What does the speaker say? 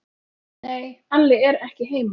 Nei, Alli er ekki heima.